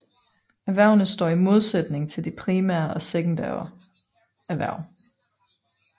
Erhvervene står i modsætning til de primære og sekundære erhverv